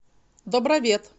добровет